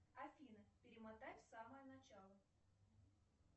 афина перемотай в самое начало